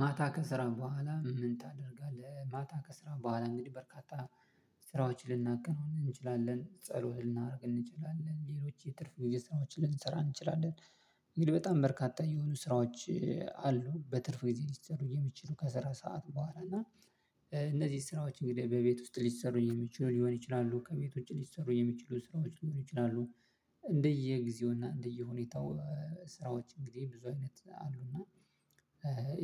ማታ ከስራ በኋላ ምን ታደርጋለህ? ማታ ከስራ በኋላ እንግዲህ በርካታ ስራዎችን ልናከናውን እንችላለን ጸሎት ልናደርግ እንችላለን ሌሎች የትርፍ ጊዜ ስራዎችን ልንሰራ እንችላለን እንግዲህ በጣም በርካታ የሆኑ ስራዎች አሉ በትርፍ ጊዜ ሊሠሩ የሚችሉ ከስራ ሰዓት በኋላ እና እነዚህ ስራዎች እንግዲህ በቤት ውስጥ ሊሠሩ የሚችሉ ሊሆን ይችላሉ ከቤቶች ሊሠሩ የሚችሉ ስራዎች ሊሆኑ ይችላሉ እንደየጊዜውና እንደየሁኔታው ስራዎች እንግዲህ ብዙ አይነት አሉና